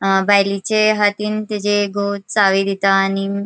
अ बायलेचे हातीन तिचे घो चावी दीता आणि--